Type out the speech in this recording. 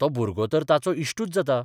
तो भुरगो तर ताचो इश्टूच जाता.